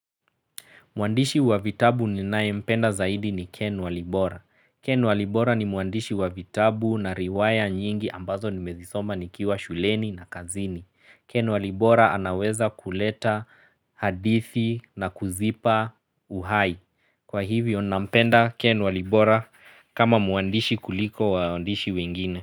Mwandishi wa vitabu ninae mpenda zaidi ni Ken Walibora. Ken Walibora ni mwandishi wa vitabu na riwaya nyingi ambazo nimezisoba nikiwa shuleni na kazini. Ken Walibora anaweza kuleta hadithi na kuzipa uhai. Kwa hivyo nampenda Ken Walibora kama muandishi kuliko waandishi wengine.